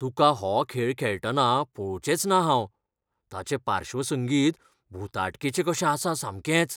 तुका हो खेळ खेळटना पळोवचेंचना हांव. ताचें पार्श्वसंगीत भुताटकेचें कशें आसा सामकेंच.